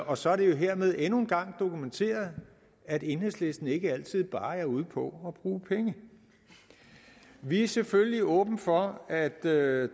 og så er det jo hermed endnu en gang dokumenteret at enhedslisten ikke altid bare er ude på at bruge penge vi er selvfølgelig åbne for at der i